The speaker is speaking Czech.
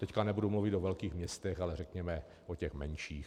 Teď nebudu mluvit o velkých městech, ale řekněme o těch menších.